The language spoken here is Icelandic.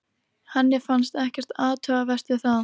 Henni fannst ekkert athugavert við það.